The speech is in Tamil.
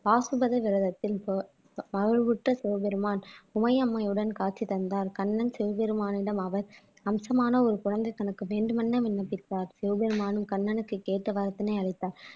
பாசுபத விரதத்தில் மகிழ்வுற்ற சிவபெருமான் உமையம்மையுடன் காட்சி தந்தார் கண்ணன் சிவபெருமானிடம் அவர் அம்சமான ஒரு குழந்தை தனக்கு வேண்டும் என விண்ணப்பித்தார் சிவபெருமானும் கண்ணனுக்கு கேட்ட வரத்தினை அளித்தார்